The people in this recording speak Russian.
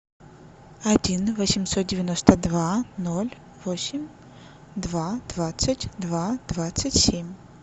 один восемьсот девяносто два ноль восемь два двадцать два двадцать семь